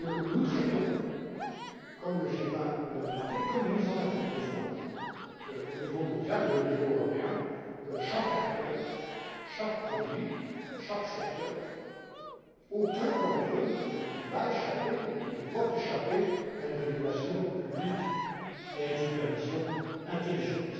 Nous traitons, comme le G20 nous l'a demandé, comme nous en avons besoin au niveau mondial et au niveau européen, chaque acteur, chaque produit, chaque secteur, aucun d'entre eux ne va et ne doit échapper à une régulation publique et à une supervision intelligente.